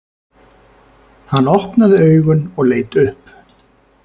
Hann opnaði augun og leit upp.